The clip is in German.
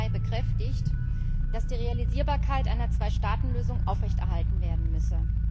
14. Mai bekräftigt, dass die Realisierbarkeit einer Zweistaatenlösung aufrechterhalten werden müsse.